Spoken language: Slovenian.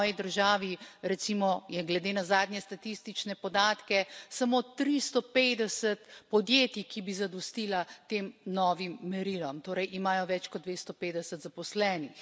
V moji državi recimo, je glede na zadnje statistične podatke, samo 350 podjetij, ki bi zadostila tem novim merilom, torej imajo več kot 250 zaposlenih.